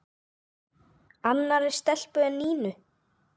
Annarri stelpu en Nínu?